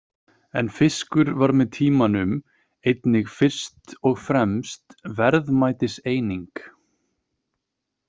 En fiskur varð með tímanum einnig fyrst og fremst verðmætiseining.